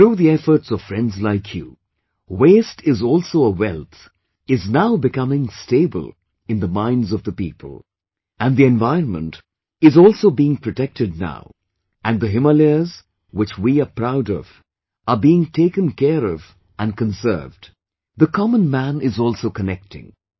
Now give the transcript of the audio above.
Through the efforts of friends like you, waste is also a wealth is now becoming stable in the minds of the people, and the environment is also being protected now and the Himalayas which we are proud of, are being taken care of and conserved... the common man is also connecting